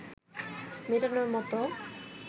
মেটানোর মতো